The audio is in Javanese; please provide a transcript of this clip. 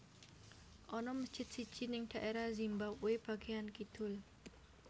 Ana mesjid siji ning daerah Zimbabwe bagian kidul